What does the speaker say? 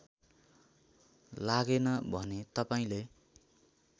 लागेन भने तपाईँले